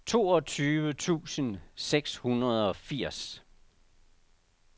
toogtyve tusind seks hundrede og firs